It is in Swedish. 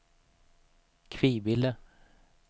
Kvibille